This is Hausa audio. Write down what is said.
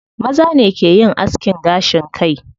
Maza ne ke yin askin gashin kai.